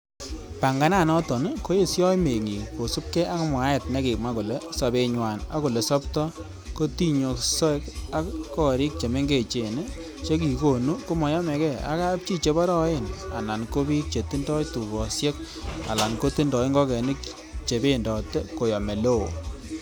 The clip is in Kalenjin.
Pangananoton koyesio meng'ik kosiibge ak mwaet nekimwa kole sobenywan ak olesobto kotinyosek, ak gorik che mengechen che kikonu komoyomege ak kapchi cheborooen, alan ko bik chetindoi tugosiek alan kotindoi ing'okenik chebendote koyom eleo.